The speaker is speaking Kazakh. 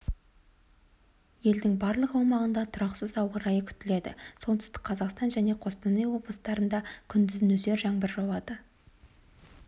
елдің барлық аумағында тұрақсыз ауа райы күтіледі солтүстік қазақстан және қостанай облыстарында күндіз нөсер жаңбыр жауады